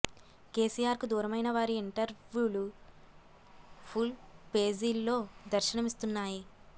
కేసిఆర్ కు దూరమైన వారి ఇంటర్వూలు ఫుల్ పేజీల్లో దర్శనమిస్తున్నాయి